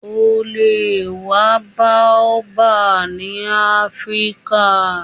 O le wa Baobab ni Afirika